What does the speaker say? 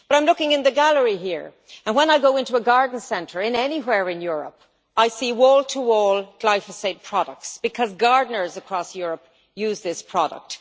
I am looking in the gallery here and when I go into a garden centre anywhere in Europe, I see wall to wall glyphosate products because gardeners across Europe use this product.